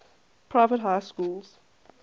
private high schools